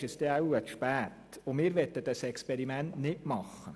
Wir möchten dieses Experiment nicht machen.